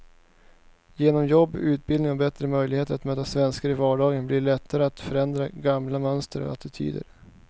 Genom jobb, utbildning och bättre möjligheter att möta svenskar i vardagen blir det lättare att förändra gamla mönster och attityder.